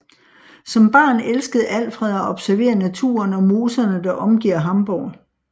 Som barn elskede Alfred at observere naturen og moserne der omgiver Hamborg